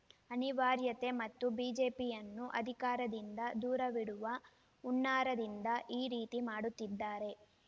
ಅನಿವಾರ್ಯತೆ ಮತ್ತು ಬಿಜೆಪಿಯನ್ನು ಅಧಿಕಾರದಿಂದ ದೂರವಿಡುವ ಹುನ್ನಾರದಿಂದ ಈ ರೀತಿ ಮಾಡುತ್ತಿದ್ದಾರೆ